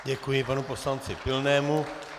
Děkuji panu poslanci Pilnému.